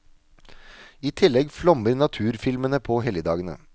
I tillegg flommer naturfilmene på helligdagene.